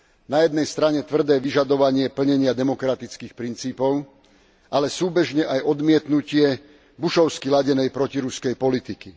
Na jednej strane tvrdé vyžadovanie plnenia demokratických princípov, ale súbežne aj odmietnutie Bushovsky ladenej protiruskej politiky.